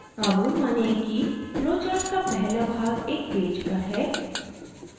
अब मानिये कि flowchart का पहला भाग एक पेज पर है